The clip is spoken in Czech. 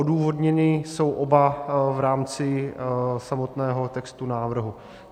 Odůvodněny jsou oba v rámci samotného textu návrhu.